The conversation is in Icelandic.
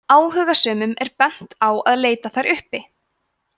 áhugasömum er bent á að leita þær uppi